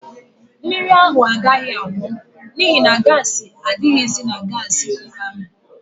Mmiri ahụ agaghị agbọ n'ihi na gaasị adịghịzi na gaasị kuka ahụ.